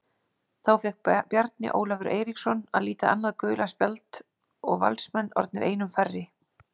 Þá fékk Bjarni Ólafur Eiríksson að líta annað gula spjald og Valsmenn orðnir einum færri.